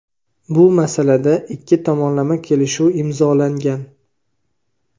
Bu masalada ikki tomonlama kelishuv imzolangan.